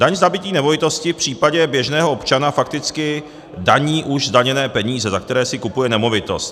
Daň z nabytí nemovitosti v případě běžného občana fakticky daní už zdaněné peníze, za které si kupuje nemovitost.